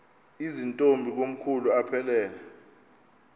zirntombi komkhulu aphelela